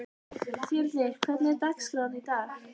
Þyrnir, hvernig er dagskráin í dag?